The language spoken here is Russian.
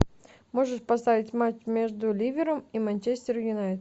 можешь поставить матч между ливером и манчестер юнайтед